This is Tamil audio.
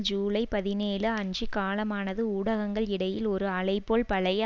ஜூலை பதினேழு அன்று காலமானது ஊடகங்கள் இடையில் ஒரு அலைபோல் பழைய